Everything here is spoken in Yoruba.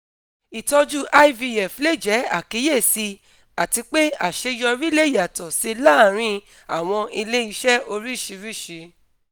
itọju ivf le jẹ akiyesi ati pe aṣeyọri le yatọ si laarin awọn ile-iṣẹ oriṣiriṣi